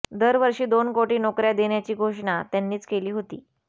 दरवर्षी दोन कोटी नोकर्या देण्याची घोषणा त्यांनीच केली होती